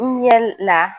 Ɲɛ la